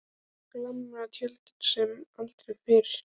Svo glampar Tjörnin sem aldrei fyrr.